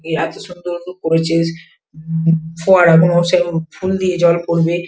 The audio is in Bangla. করেছে ফোয়ারা গুনো সেরকম ফুল দিয়ে জল পড়বে।